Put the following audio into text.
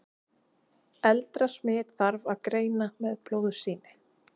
eldra smit þarf að greina með blóðsýni